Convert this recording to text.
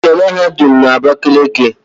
Enwere mahadum na Abakeleke